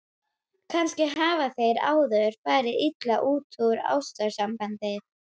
Kannski hafa þeir áður farið illa út úr ástarsambandi.